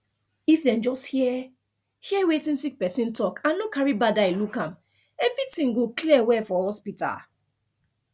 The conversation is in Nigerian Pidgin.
if dem just hear hear wetin sick person talk and no carry bad eye look am everything go clear well for hospital